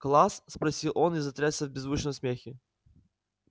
класс спросил он и затрясся в беззвучном смехе